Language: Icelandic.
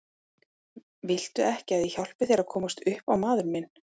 Viltu ekki að ég hjálpi þér að komast upp á maður minn.